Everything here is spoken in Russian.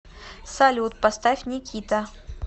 салют поставь никита